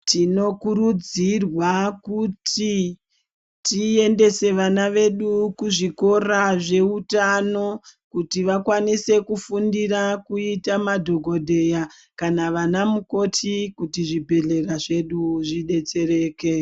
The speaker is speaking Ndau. Tinokurudzirwa kuti tendese vana vedu kuzvikora zveutano kuti vakwanise kufundira kuita madhokodheya kana kuita ana mukoti kuti zvibhedhlera zvedu zvidetsereke